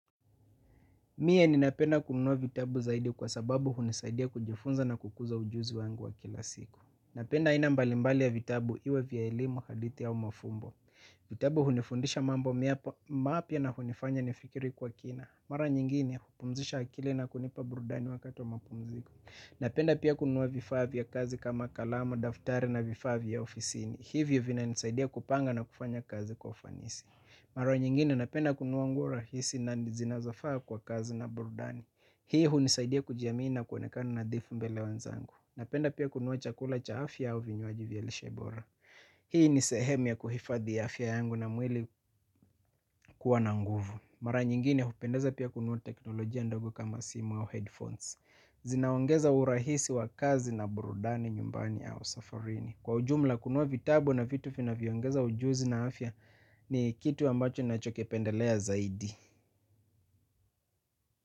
Mie ni napenda kunuwa vitabu zaidi kwa sababu hunisaidia kujifunza na kukuza ujuzi wangu wa kila siku. Napenda aina mbali mbali ya vitabu iwe vya elimu, hadithi au mafumbo. Vitabu hunifundisha mambo mapya na hunifanya nifikiri kwa kina. Mara nyingine hupumzisha akili na kunipa burudani wakati wa mapumziko. Napenda pia kununua vifaa vya kazi kama kalamu, daftari na vifaa vya ofisini. Hivyo vina nisaidia kupanga na kufanya kazi kwa ufanisi. Mara nyingine napenda kunuwa nguo rahisi na zinazofaa kwa kazi na burudani. Hii hunisaidia kujiamini na kuonekana nadhifu mbele ya wenzangu. Napenda pia kunuwa chakula cha afya au vinywaji vya lishe bora. Hii ni sehemu ya kuhifadhi afya yangu na mwili kuwa na nguvu. Mara nyingine hupendeza pia kunua teknolojia ndogo kama simu au headphones. Zinaongeza urahisi wa kazi na burudani nyumbani au safarini. Kwa ujumla kunua vitabu na vitu vinavyo ongeza ujuzi na afya ni kitu ambacho ninacho kipendelea zaidi.